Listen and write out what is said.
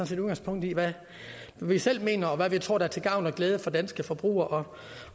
set udgangspunkt i hvad vi selv mener og hvad vi tror der er til gavn og glæde for danske forbrugere